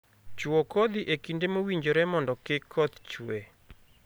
Chuo kodhi e kinde mowinjore mondo kik koth chue